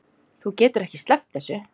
Þú getur ekki sleppt þessu.